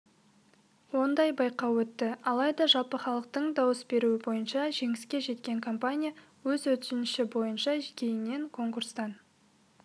ондай байқау өтті алайда жалпыхалықтың дауыс беруі бойынша жеңіске жеткен компания өз өтініші бойынша кейіннен конкурстан